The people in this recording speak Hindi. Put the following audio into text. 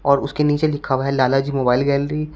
और उसके नीचे लिखा हुआ है लाल जी मोबाइल गैलरी ।